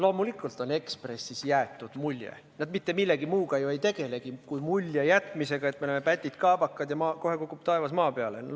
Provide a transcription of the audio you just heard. Loomulikult on Ekspressis jäetud mulje – nad mitte millegi muuga ju ei tegelegi, kui sellise mulje jätmisega –, et me oleme pätid ja kaabakad ja kohe kukub taevas maa peale.